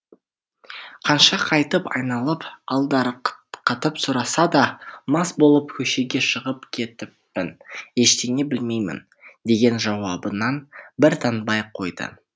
қанша қайтып айналып алдарқатып сұраса да мас болып көшеге шығып кетіппін ештеңе білмеймін деген жауабынан бір танбай қойды